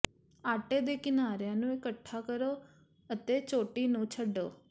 ਆਟੇ ਦੇ ਕਿਨਾਰਿਆਂ ਨੂੰ ਇਕੱਠੇ ਕਰੋ ਅਤੇ ਚੋਟੀ ਨੂੰ ਛੱਡੋ